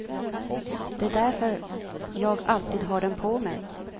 Det är därför jag alltid har den på mig.